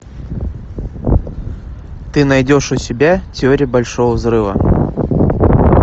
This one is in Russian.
ты найдешь у себя теория большого взрыва